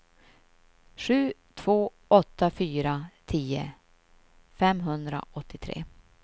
sju två åtta fyra tio femhundraåttiotre